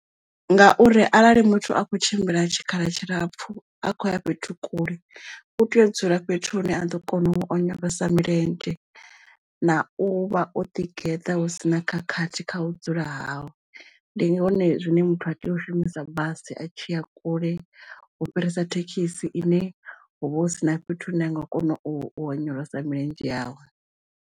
Ngauri arali muthu a kho tshimbila tshikhala tshilapfu a khoya fhethu kule u tea u dzula fhethu hune a ḓo kona u onyolosa milenzhe na u vha o ḓi geḓa hu sina khakhathi kha u dzula hau ndi zwone zwine muthu a tea u shumisa basi a tshi a kule u fhirisa thekhisi ine hu vha hu sina fhethu hu ne a nga kona u onyolosa milenzhe yawe.